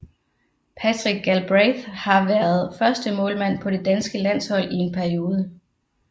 Patrick Galbraith har været førstemålmand på det danske landshold i en periode